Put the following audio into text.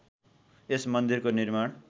यस मन्दिरको निर्माण